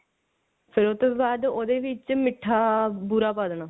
ਫੇਰ ਉਹ ਤੋਂ ਬਾਅਦ ਉਹਦੇ ਵਿੱਚ ਮਿੱਠਾ ਬੂਰਾ ਪਾ ਦੇਣਾ